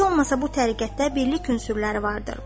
Heç olmasa bu təriqətdə birlik ünsürləri vardır.